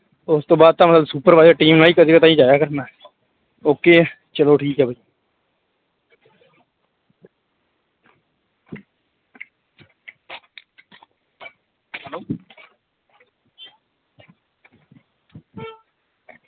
ਉਸ ਤੋਂ ਬਾਅਦ ਤਾਂ ਮਤਲਬ supervisor team ਆ, ਕਦੇ ਕਦਾਈ ਜਾਇਆ ਕਰਨਾ okay ਆ, ਚਲੋ ਠੀਕ ਹੈ।